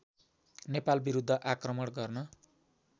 नेपाल विरूद्ध आक्रमण गर्न